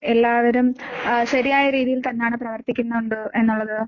എല്ലാവരും ആഹ് ശരിയായ രീതിയിൽ തന്നാണ് പ്രവർത്തിക്കുന്നുണ്ട് എന്നുള്ളത്?